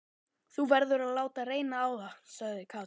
Þú verður að láta reyna á það, sagði Katrín.